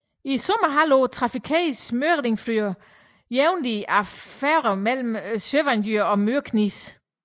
I sommerhalvåret trafikeres Mykinesfjørður jævnlig af færgen mellem Sørvágur og Mykines